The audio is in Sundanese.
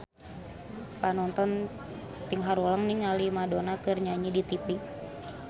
Panonton ting haruleng ningali Madonna keur nyanyi di tipi